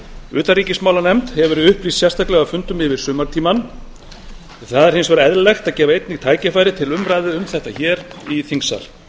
utanríkismálanefnd hefur verið upplýst sérstaklega á fundum yfir sumartímann það er hins vegar eðlilegt að gefa einnig tækifæri til umræðu um þetta í þingsal